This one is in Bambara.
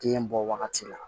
Den bɔ wagati la